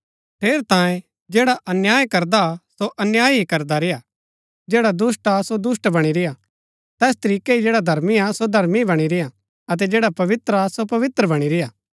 ठेरैतांये जैडा अन्याय करदा हा सो अन्याय ही करदा रेय्आ जैडा दुष्‍ट हा सो दुष्‍ट बणी रेय्आ तैस तरीकै ही जैडा धर्मी हा सो धर्मी बणी रेय्आ अतै जैडा पवित्र हा सो पवित्र बणी रेय्आ